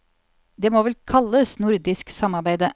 Det må vel kalles nordisk samarbeide.